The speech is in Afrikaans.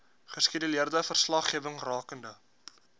geskeduleerde verslaggewing rakende